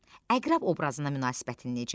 Əqrəb obrazına münasibətin necədir?